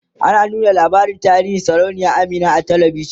ana ta nuna tarihin sarauniya Amina a talavishan